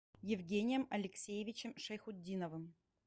евгением алексеевичем шайхутдиновым